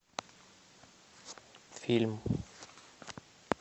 фильм